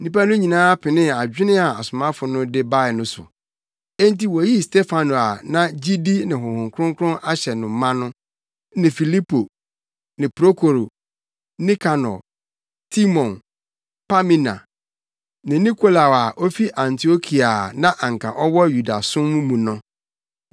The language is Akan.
Nnipa no nyinaa penee adwene a asomafo no de bae no so. Enti, woyii Stefano a na gyidi ne Honhom Kronkron ahyɛ no ma no, ne Filipo, Prokoro, Nikanor, Timon, Pamina ne Nikolao a ofi Antiokia a na anka ɔwɔ Yudasom mu no.